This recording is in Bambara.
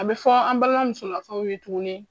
An bi fɔ an balima musolakaw ye tuguni